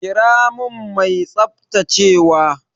Kira min mai tsaftacewa!